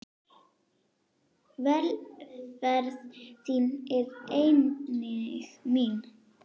Velferð þín er einnig mín.